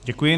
Děkuji.